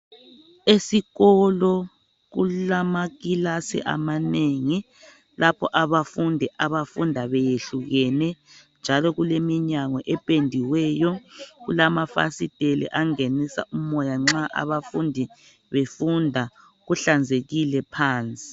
Esikolo kulama kilasi amanengi lapho abafundi abafunda beyehlukene njalo kuleminyango ependiweyo, kulama fasitela angenisa umoya nxa abafundi befunda. Kuhlanzekile phansi.